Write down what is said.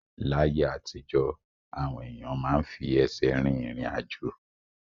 Láyé àtijọ́, àwọn èèyàn máa ń fi ẹsẹ̀ rìn irin-ajo